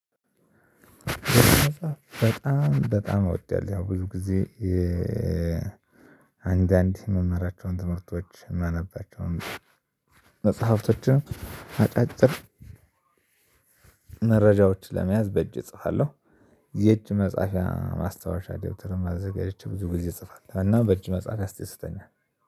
በጣም በጣም እወደዋለሁ። ያው ብዙ ጊዜ አንዳንድ የምማራቸውን ትምህርቶች የማናነባቸውን መጽሐፍቶችም አጫጭር መረጃዎች ለመያዝ በእጄ እጽፋለሁ። የእጅ መጻፊያ ማስታወሻ ደብተርም አዘጋጅቼ ብዙ ጊዜ እጽፋለሁ። እና በእጅ መጻፍ ያስደስተኛል።